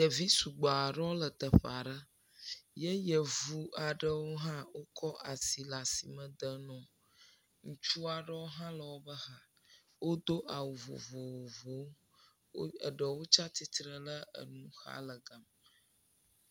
Ɖevi sugbɔ aɖewo le teƒe aɖe ye yevu aɖewo hã wokɔ asi le asi me dem no. Ŋutsu aɖewo hã le wobe xa. Wodo awu vovovo. Eɖewo tsa atsitre ɖe enu xa le gama kpɔm.